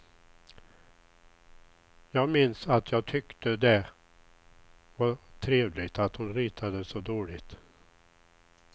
Jag minns att jag tyckte det var trevligt att hon ritade så dåligt.